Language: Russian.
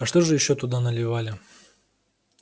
а что же ещё туда наливали